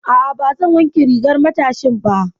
A'a, ba zan wanke rigar matashin ba.